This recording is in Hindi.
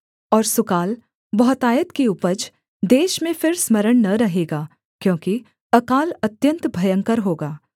और सुकाल बहुतायत की उपज देश में फिर स्मरण न रहेगा क्योंकि अकाल अत्यन्त भयंकर होगा